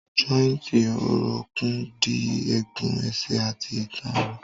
Jọ́ìntì orókún dì egun ẹsẹ̀ àti ìtàn ró.